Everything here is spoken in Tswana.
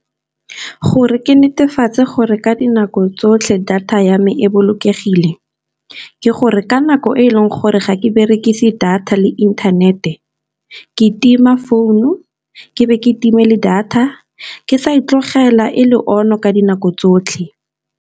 Gore ke netefatse gore ka dinako tsotlhe data ya me e bolokegile ke gore ka nako e e leng gore ga ke berekise data le inthanete, ke tima founu ke be ke timile data ke sa e tlogela e le on-o ka dinako tsotlhe.